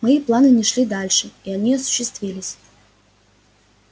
мои планы не шли дальше и они осуществились